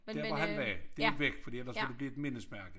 Dér hvor han var det jo væk fordi ellers ville det blive et mindesmærke